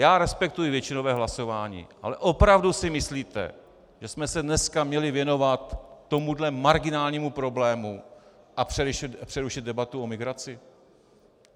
Já respektuji většinové hlasování, ale opravdu si myslíte, že jsme se dneska měli věnovat tomuhle marginálnímu problému a přerušit debatu o migraci?